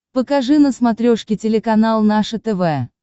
покажи на смотрешке телеканал наше тв